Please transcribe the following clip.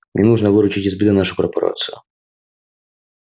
мне нужно выручить из беды нашу корпорацию